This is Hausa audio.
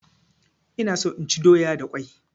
Ina so inchi doya da kwai